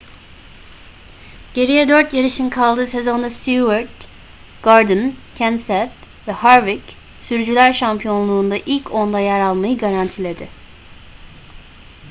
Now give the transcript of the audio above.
geriye dört yarışın kaldığı sezonda stewart gordon kenseth ve harvick sürücüler şampiyonluğunda ilk onda yer almayı garantiledi